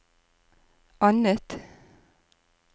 annet